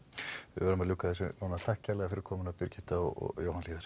við verðum að ljúka þessu núna takk kærlega fyrir komuna Birgitta og Jóhann hlíðar